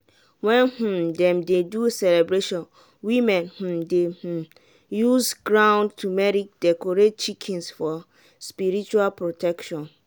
when um dem dey do celebration women um dey um use ground turmeric decorate chickens for spiritual protection.